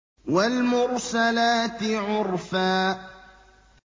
وَالْمُرْسَلَاتِ عُرْفًا